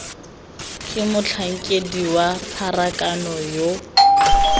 ke motlhankedi wa pharakano yo